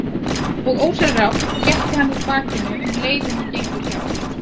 Og ósjálfrátt réttir hann úr bakinu um leið og hann gengur hjá.